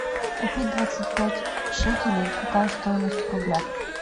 купить двадцать пять шекелей какая стоимость в рублях